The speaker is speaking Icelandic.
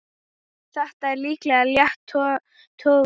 Þetta er líklega létt tognun.